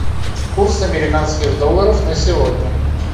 курс американских долларов на сегодня